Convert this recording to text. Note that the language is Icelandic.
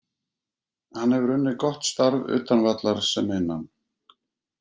Hann hefur unnið gott starf utan vallar sem innan.